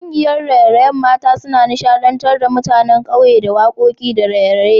Kungiyar raye-rayen mata suna nishadantar da mutanen ƙauye da wakoki da raye-raye